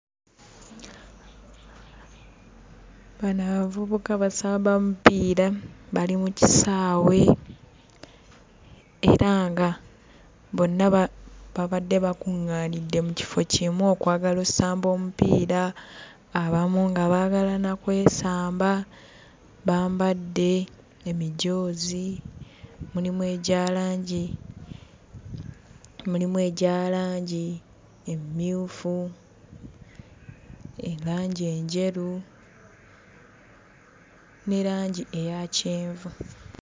Bano abavubuka basamba mupiira bali mu kisaawe era nga bonna ba baabadde bakungaanidde mu kifo kimu okwagala ossamba omupiira abamu nga baagala na kwesamba bambadde emijoozi mulimu egya langi mulimu egya langi emmyufu erangi enjeru ne langi eya kyenvu.